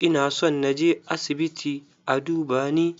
Ina son na je asibiit a duba ni.